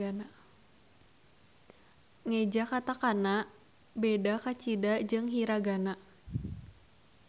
Ngeja katakana beda kacida jeung hiragana.